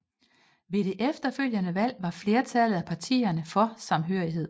Ved det efterfølgende valg var flertallet af partierne for samhørighed